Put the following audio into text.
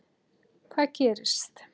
Hvað gerist?